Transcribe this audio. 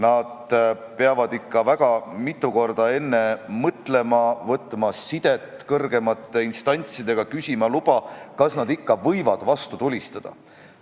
Nad peavad ikka väga mitu korda enne mõtlema, võtma sidet kõrgemate instantsidega, küsima luba, kas nad ikka võivad vastu tulistada.